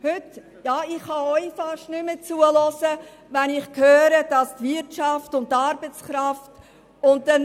Ich kann Ihnen fast nicht mehr zuhören, wenn Sie von Wirtschaft und Arbeitskräften sprechen.